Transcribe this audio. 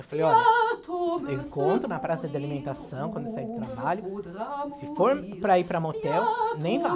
Eu falei, olha, eu encontro na praça de alimentação, quando eu sair do trabalho, se for para ir para motel, nem vá.